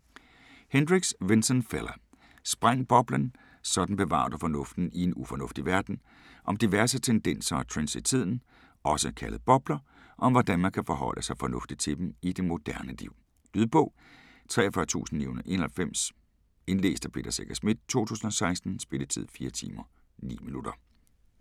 Hendricks, Vincent Fella: Spræng boblen: sådan bevarer du fornuften i en ufornuftig verden Om diverse tendenser og trends i tiden - også kaldet bobler - og om hvordan man kan forholde sig fornuftigt til dem i det moderne liv. Lydbog 43991 Indlæst af Peter Secher Schmidt, 2016. Spilletid: 4 timer, 9 minutter.